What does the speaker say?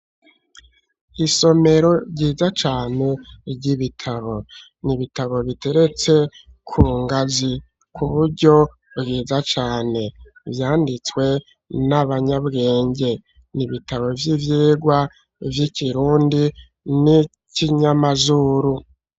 Isomero ryiza cane ry'ibitabo, n'ibitabo biteretse kungazi kuburyo bwiza cane , vyanditswe n'abanyabwenge, n'ibitabo vy'ivyigwa vy'ikirundi n'ikinyamazuru.